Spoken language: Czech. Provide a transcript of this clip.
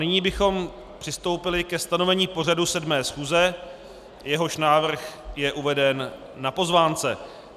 Nyní bychom přistoupili ke stanovení pořadu 7. schůze, jehož návrh je uveden na pozvánce.